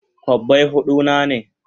Kobbai hudu na ne?